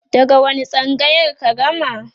daga wani tsangayar ka gama?